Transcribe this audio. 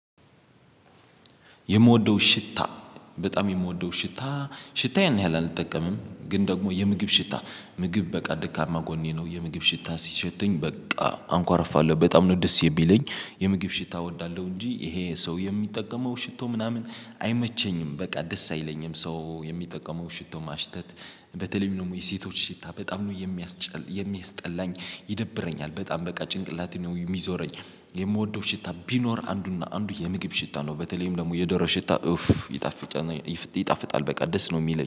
የምወደው ሽታ በጣም የምወደው ሽታ ሽታ ያን ያህል አልጠቀምም። ግን ደግሞ የምግብ ሽታ ምግብ በቃ ደካማ ጎኔ ነው የምግብ ሽታ ሲሸተኝ በቃ አንኳርፋለሁ በጣም ነው ደስ የሚለኝ። የምግብ ሽታ እወዳለሁ እንጂ ይሄ ሰው የሚጠቀመው ሽቶ ምናምን አይመቸኝም በቃ ደስ አይለኝም ሰው የሚጠቀመው ሽቶ ማሽተት። በተለይም ደግሞ የሴቶች ሽታ በጣም ነው የሚያስጠላኝ ይደብረኛል በጣም በቃ ጭንቅላቴን ነው የሚዞረኝ። የምወደው ሽታ ቢኖር አንዱና አንዱ የምግብ ሽታ ነው በተለይም ደግሞ የዶሮ ሽታ ኡፍ ይጣፍጣል ይጣፍጣል በቃ ደስ ነው የሚለኝ